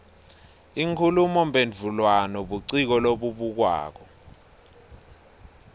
inkhulumomphendvulwano buciko lobubukwako